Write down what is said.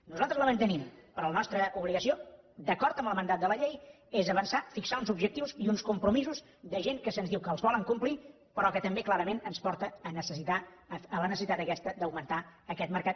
nosaltres la mantenim però la nostra obligació d’acord amb el mandat de la llei és avançar fixar uns objectius i uns compromisos de gent que se’ns diu que els volen complir però que també clarament ens porta a la necessitat aquesta d’augmentar aquest mercat